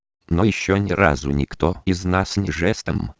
ну ещё ни разу никто из нас не жест